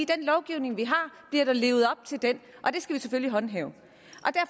den lovgivning vi har den skal vi selvfølgelig håndhæve